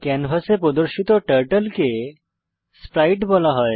ক্যানভাসে প্রদর্শিত টার্টল কে স্প্রাইট বলা হয়